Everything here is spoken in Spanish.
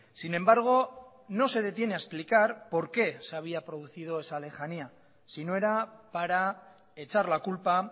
sin embargo no se detiene a explicar por qué se había producido esa lejanía si no era para echar la culpa